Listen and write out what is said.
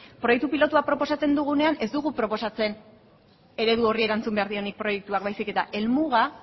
proiektu pilotua proposatzen dugunean ez dugu proposamen eredu horri erantzun behar dionik proiektuak baizik eta helmuga